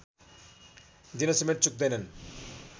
दिनसमेत चुक्दैनन्